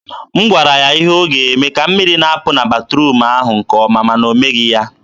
m gwara ya ihe ọ ga-eme ka mmiri na-apụ na batruum ahụ nke ọma, ma na o meghị ya.